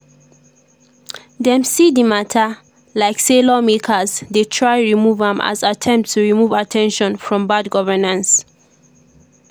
dem see di mata like say lawmakers dey try remove am as attempt to remove at ten tion from bad governance.